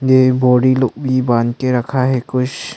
ये बोरी लोग भी बांध के रखा है कुछ--